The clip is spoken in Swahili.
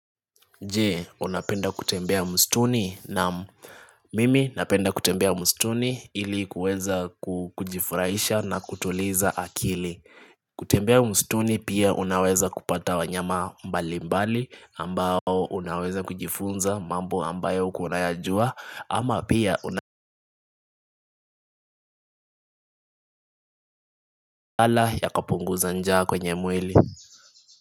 Jee unapenda kutembea msituni naam mimi napenda kutembea msituni ili kuweza kujifurahisha na kutuliza akili, kutembea msituni pia unaweza kupata wanyama mbali mbali ambao unaweza kujifunza mambo ambayo hukua unayajua ama pia unakaala yakapunguza njaa kwenye mwili.